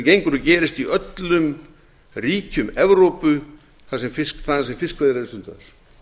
gengur og gerist í öllum ríkjum evrópu þaðan sem fiskveiðar eru stundaðar